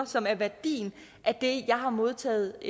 som er værdien af det jeg har modtaget